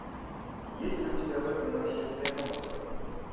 есть ли у тебя бэтмен нашествие монстров